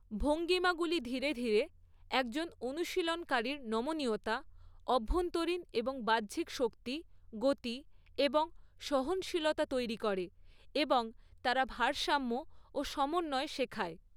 ভঙ্গিমাগুলি ধীরে ধীরে একজন অনুশীলনকারীর নমনীয়তা, অভ্যন্তরীণ এবং বাহ্যিক শক্তি, গতি এবং সহনশীলতা তৈরি করে, এবং তারা ভারসাম্য ও সমন্বয় শেখায়।